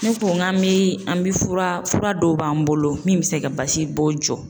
Ne ko n ka mi an bi fura, fura dɔw b'an bolo min bɛ se ka basibɔn jɔ.